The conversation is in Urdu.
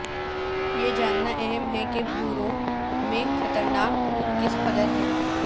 یہ جاننا اہم ہے کہ بھووروں میں خطرناک خون کس قدر ہے